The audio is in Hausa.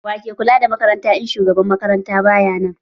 Wa ke kula da makaranta in shugaban makaranta baya nan?